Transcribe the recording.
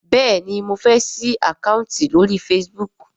béèni mọ fè sí Àkáùntì lórí Facebook.